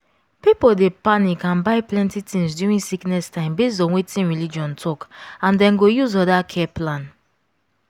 people dey panic and buy plenty things during sickness time based on wetin religion talk and dem go use other care plan.